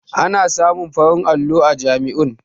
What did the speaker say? Ana samun farin allo a jami'oi